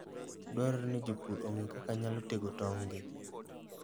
Dwarore ni jopur ong'e kaka ginyalo tego tong'gi.